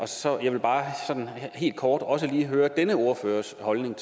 så jeg vil bare helt kort også høre om denne ordførers holdning og